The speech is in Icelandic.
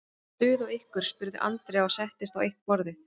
Er stuð á ykkur? spurði Andrea og settist á eitt borðið.